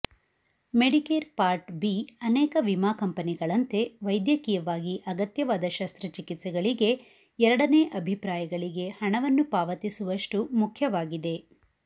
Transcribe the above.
Medicare part B ಅನೇಕ ವಿಮಾ ಕಂಪೆನಿಗಳಂತೆ ವೈದ್ಯಕೀಯವಾಗಿ ಅಗತ್ಯವಾದ ಶಸ್ತ್ರಚಿಕಿತ್ಸೆಗಳಿಗೆ ಎರಡನೇ ಅಭಿಪ್ರಾಯಗಳಿಗೆ ಹಣವನ್ನು ಪಾವತಿಸುವಷ್ಟು ಮುಖ್ಯವಾಗಿದೆ